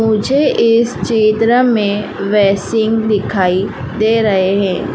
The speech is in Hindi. मुझे इस चित्र में दिखाई दे रहे हैं।